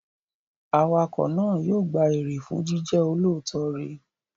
Awakọ̀ náà yóò gba èrè fún jíjẹ́ olóòótọ́ rẹ̀.